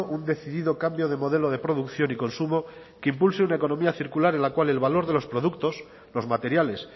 un decidido cambio de modelo de producción y consumo que impulse una economía circular en la cual el valor de los productos los materiales